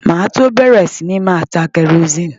Màá tó bẹ̀rẹ̀ sí ní máa ta kẹrosíìnì.